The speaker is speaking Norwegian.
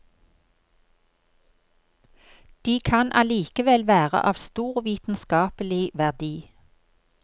De kan allikevel være av stor vitenskapelig verdi.